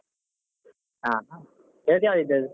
ಹ ಹಾ ಇವತ್ ಯಾವ್ದ್ ಇದದ್ದು?